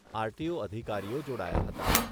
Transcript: RTO અધિકારીઓ જોડાયા હતા.